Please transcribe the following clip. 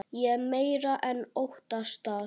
Ég meira en óttast það.